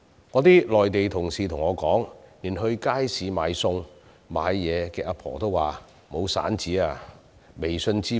我的內地同事告訴我，連在街市售賣餸菜的長者也說沒有零錢，要求以微信支付。